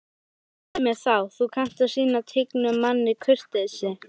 Svei mér þá, þú kannt að sýna tignum manni kurteisi